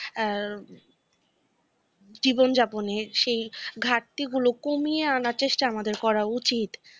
এ, জীবন যাপনের সেই ঘাটতিগুলো কমিয়ে আনার চেষ্টা আমাদের করা উচিত।